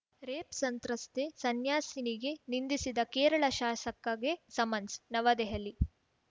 rape ಸಂತ್ರಸ್ತೆ ಸನ್ಯಾಸಿನಿಗೆ ನಿಂದಿಸಿದ ಕೇರಳ ಶಾಸಕಗೆ ಸಮನ್ಸ್‌ ನವದೆಹಲಿ